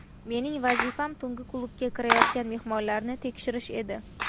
Mening vazifam tungi klubga kirayotgan mehmonlarni tekshirish edi.